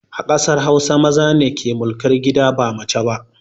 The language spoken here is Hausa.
A ƙasar hausa, maza ne ke mulkar gida ba mace ba